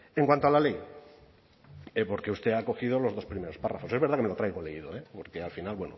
en cuanto a la ley porque usted ha cogido los dos primeros párrafos es verdad que me lo traigo leído eh porque al final